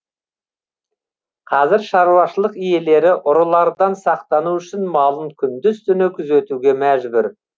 қазір шаруашылық иелері ұрылардан сақтану үшін малын күндіз түні күзетуге мәжбүр